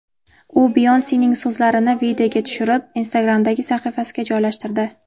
U Beyonsening so‘zlarini videoga tushirib, Instagram’dagi sahifasiga joylashtirdi.